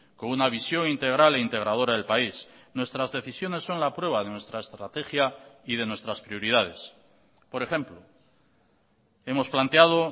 con una visión integral e integradora del país nuestras decisiones son la prueba de nuestra estrategia y de nuestras prioridades por ejemplo hemos planteado